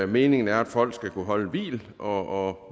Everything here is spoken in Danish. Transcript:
meningen er at folk skal kunne holde hvil og